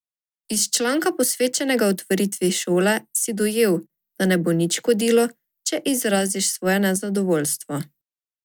Iz članka, posvečenega otvoritvi šole, si dojel, da ne bo nič škodilo, če izraziš svoje nezadovoljstvo.